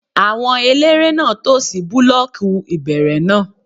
Àwọn eléré náà tò sí búlọ́ọ̀kù ìbẹ̀rẹ̀ náà